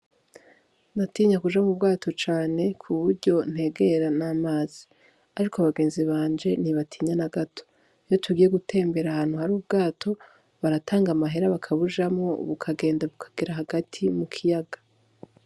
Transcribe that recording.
Ndatinya kuja mu bwato cane ku buryo ntegera n'amazi ariko abagenzi banje ntibatinya n'agato iyo tugiye gutembera ahantu hari ubwato baratanga amahera bakabujamwo bukagenda bukagera hagati mu kiyaga.